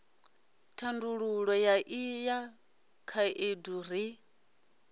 thandululo ya ino khaedu ri